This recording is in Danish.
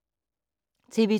TV 2